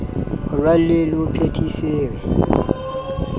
ho raleng le ho phethiseng